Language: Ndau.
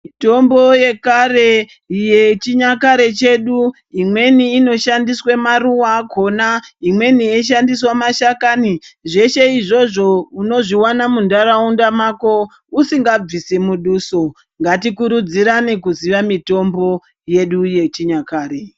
Mitombo yekare yechinyakare chedu imweni inoshandiswa maruwa akona imweni ichishandiswa mashakani zveshe izvozvo inonozviona munharaunda yako usingabvisi muduso ngatikurudzirane kuziya mutombo yedu yechinyakare.